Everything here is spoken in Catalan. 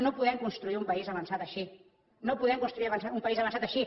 no podem construir un país avançat així no podem construir un país avançat així